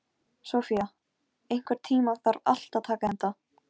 Sofía, einhvern tímann þarf allt að taka enda.